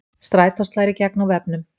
Strætó slær í gegn á vefnum